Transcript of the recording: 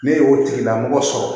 Ne y'o tigilamɔgɔ sɔrɔ